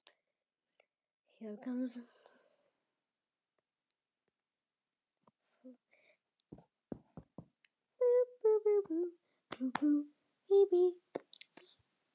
Hvað ætli það þýði?